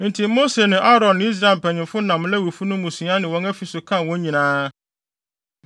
Enti Mose ne Aaron ne Israel mpanyimfo nam Lewifo no mmusua ne wɔn afi so kan wɔn nyinaa.